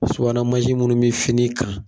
Subahanamansin munnu bi fini kan.